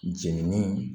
Jenini